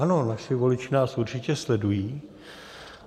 Ano, naši voliči nás určitě sledují.